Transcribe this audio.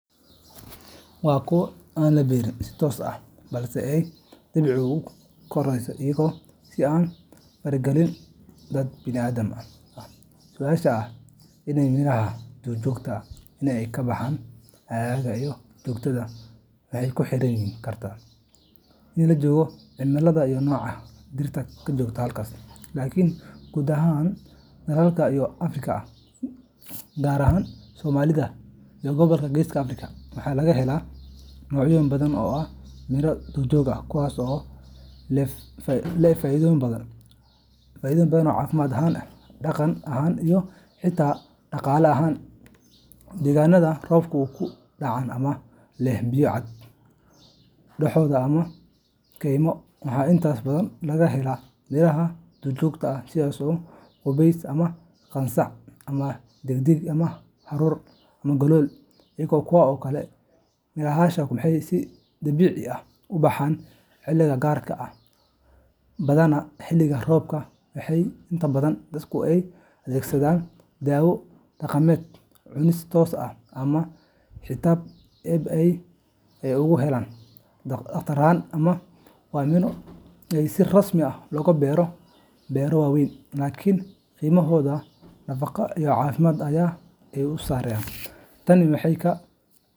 Miraha duurjoogta ah waa miro si dabiici ah ugu baxa keymaha, dooxooyinka, buuraha iyo dhulka aan weli si buuxda loo beeraleynin. Waa kuwo aan la beerin si toos ah balse ay dabeecaddu u korisay iyada oo aan faragelin dad bini’aadam ah. Su’aasha ah in miraha duurjoogta ah ay ka baxaan aagga aad joogto waxay ku xirnaan kartaa deegaanka la joogo, cimilada, iyo nooca dhirta ka jirta halkaas. Laakiin guud ahaan, dalal badan oo Afrikaan ah gaar ahaan Soomaaliya iyo gobolka Geeska Afrika waxa laga helaa noocyo badan oo ah miro duurjoog ah kuwaas oo leh faa’iidooyin badan caafimaad ahaan, dhaqan ahaan, iyo xitaa dhaqaale ahaan. Deegaanada roobabku ka dhacaan ama leh biyo-dhac, dooxooyin, ama keymo, waxaa inta badan laga helaa miraha duurjoogta ah sida gubays, qansax, dheddig, haruur, galool, iyo kuwo kale. Mirahaasi waxay si dabiici ah u baxaan xilliyo gaar ah, badanaa xilliga roobka, waxaana inta badan dadku ay u adeegsadaan daawo dhaqameed, cunis toos ah, ama xitaa iib ah si ay ugu helaan dakhli yar. Waa miro aan si rasmi ah looga beerto beero waaweyn, laakiin qiimahooda nafaqo iyo caafimaad ayaa aad u sarreeya. Tani waxay ka.